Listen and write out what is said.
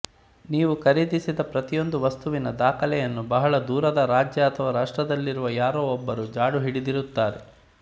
ನೀವು ಖರೀದಿಸಿದ ಪ್ರತಿಯೊಂದು ವಸ್ತುವಿನ ದಾಖಲೆಯನ್ನು ಬಹಳ ದೂರದ ರಾಜ್ಯ ಅಥವಾ ರಾಷ್ಟದಲ್ಲಿರುವ ಯಾರೋ ಒಬ್ಬರು ಜಾಡು ಹಿಡಿದಿರುತ್ತಾರೆ